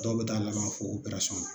Dɔw be taa laban fo operasɔn na